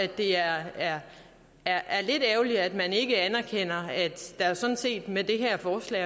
det er lidt ærgerligt at man ikke anerkender at der sådan set med det her forslag